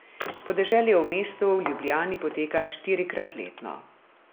Podeželje v mestu v Ljubljani poteka štirikrat letno.